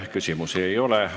Küsimusi ei ole.